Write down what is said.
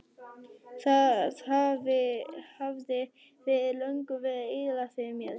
Það hafði fyrir löngu verið eyðilagt fyrir mér.